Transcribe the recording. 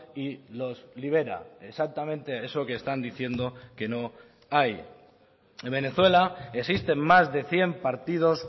y los libera exactamente eso que están diciendo que no hay en venezuela existen más de cien partidos